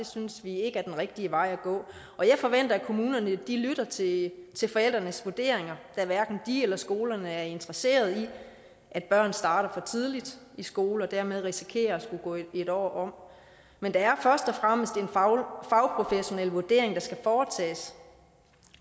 synes vi ikke er den rigtige vej at gå jeg forventer at kommunerne lytter til til forældrenes vurderinger da hverken de eller skolerne er interesseret i at børn starter for tidligt i skole og dermed risikerer at skulle gå et år om men det er først og fremmest en fagprofessionel vurdering der skal foretages